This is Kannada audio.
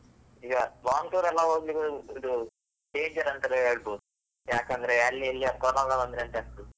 ಈಗ long tour ಎಲ್ಲ ಹೋಗ್ಲಿಕ್ಕೆ ಇದು danger ಅಂತಲೇ ಹೇಳ್ಬಹುದು, ಯಾಕೆಂದ್ರೆ ಅಲ್ಲಿ ಇಲ್ಲಿ corona ಬಂದ್ರೆ ಅಂತ ಆಗ್ತದೆ.